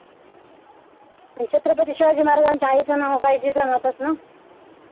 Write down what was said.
आणि छत्रपती शिवाजी महाराजांच्या आईच नाव काय जिजामाताच ना.